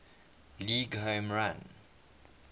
league home run